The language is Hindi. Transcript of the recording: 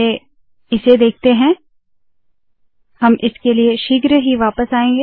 पहले इसे देखते है हम इसके लिए शीघ्र वापस आएंगे